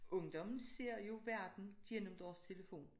Ungdommen ser jo verden gennem deres telefon